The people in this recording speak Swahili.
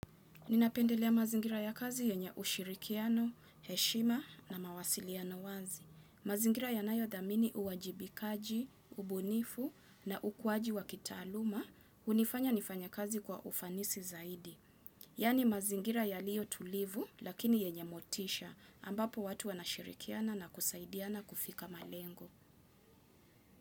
Ninapendelea mazingira ya kazi yenye ushirikiano, heshima na mawasiliano wazi. Mazingira yanayothamini uwajibikaji, ubunifu na ukuaji wa kitaaluma hunifanya nifanye kazi kwa ufanisi zaidi. Yani mazingira yaliyo tulivu lakini yenye motisha, ambapo watu wanashirikiana na kusaidiana kufika malengo.